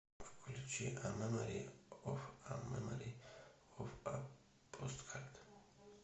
включи а мемори оф а мемори оф а посткард